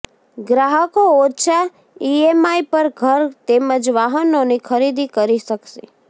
ગ્રાહકો ઓછા ઇએમઆઇ પર ઘર તેમજ વાહનોની ખરીદી કરી શકશે